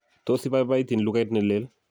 tos ibabaitin lugait ne leel